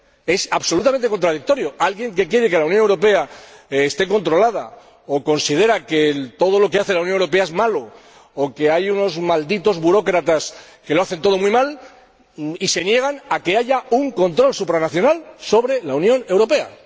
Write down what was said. Es absolutamente contradictorio que alguien que quiere que la Unión Europea esté controlada o considera que todo lo que hace la Unión Europea es malo o que hay unos malditos burócratas que lo hacen todo muy mal se niegue a que haya un control supranacional sobre la Unión Europea.